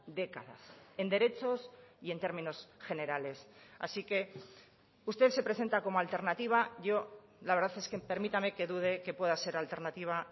décadas en derechos y en términos generales así que usted se presenta como alternativa yo la verdad es que permítame que dude que pueda ser alternativa